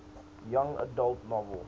young adult novel